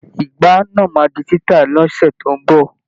Ìgbá náà máa di títà ni ọ̀sẹ̀ tó ń bọ̀.